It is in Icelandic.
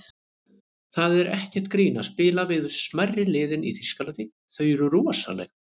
Það er ekkert grín að spila við smærri liðin í Þýskalandi, þau eru rosaleg.